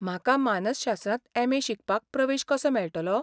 म्हाका मानसशास्त्रांत एम.ए. शिकपाक प्रवेश कसो मेळटलो?